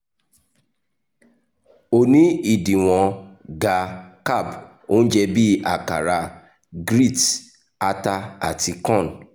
o ni idiwọn ga-carb ounje bi akara grits ata ati corn